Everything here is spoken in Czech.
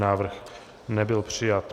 Návrh nebyl přijat.